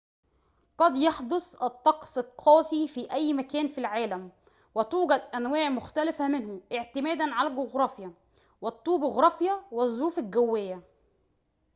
قد يحدث الطقس القاسي في أي مكان في العالم وتوجد أنواع مختلفة منه اعتمادًا على الجغرافيا والطبوغرافيا والظروف الجوية